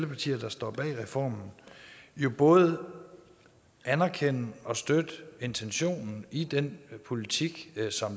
partier der står bag reformen jo både anerkender og støtter intentionen i den politik